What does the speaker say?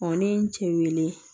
ne ye n cɛ weele